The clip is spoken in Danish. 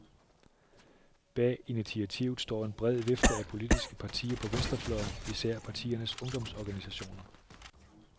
Bag initiativet står en bred vifte af politiske partier på venstrefløjen, især partiernes ungdomsorganisationer.